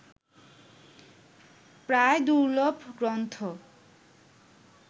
প্রায় দুর্লভ গ্রন্থ